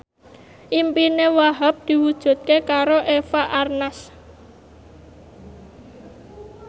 impine Wahhab diwujudke karo Eva Arnaz